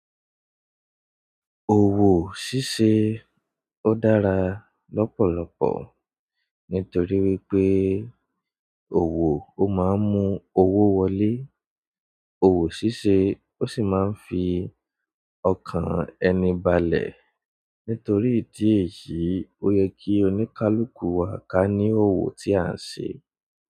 Òwò ṣíṣe ó dára lọ́pọ̀lọpọ̀ nítorí wípé òwò ó máa ń mú owó wọlé, òwò ṣíṣe ó sì máa ń fi ọkàn ẹni balẹ̀. Nítorí ìdí èyí, ó yẹ kí oníkálukú wa ká ní òwò tí à ń ṣe.